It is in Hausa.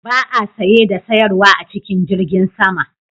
Ba a saye da sayarwa a cikin jirgin sama